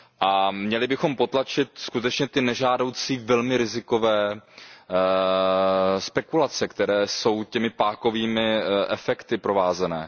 A měli bychom potlačit skutečně ty nežádoucí, velmi rizikové spekulace, které jsou těmi pákovými efekty provázené.